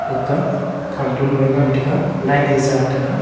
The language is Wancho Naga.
gagkah cartoon lo ye nganataga light ye jataga.